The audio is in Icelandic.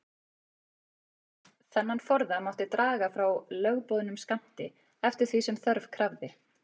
Þennan forða mátti draga frá lögboðnum skammti, eftir því sem þörf krafði.